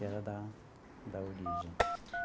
Que era da da origem.